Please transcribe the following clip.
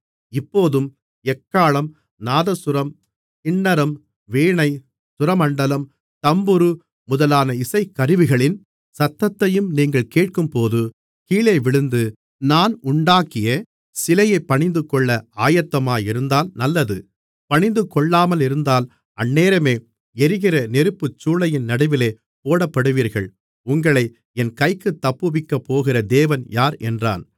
இப்போதும் எக்காளம் நாதசுரம் கின்னரம் வீணை சுரமண்டலம் தம்புரு முதலான இசைக்கருவிகளின் சத்தத்தையும் நீங்கள் கேட்கும்போது கீழேவிழுந்து நான் உண்டாக்கிய சிலையைப் பணிந்துகொள்ள ஆயத்தமாயிருந்தால் நல்லது பணிந்துகொள்ளாமலிருந்தால் அந்நேரமே எரிகிற நெருப்புச்சூளையின் நடுவிலே போடப்படுவீர்கள் உங்களை என் கைக்குத் தப்புவிக்கப்போகிற தேவன் யார் என்றான்